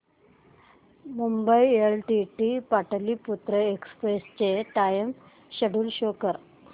Mumbai LTT Pataliputra express चे time schedule show कर